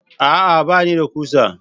A'a! Ba ni da ƙusa.